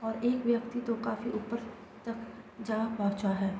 और एक व्यक्ति तो काफी ऊपर तक जा पहुंचा है।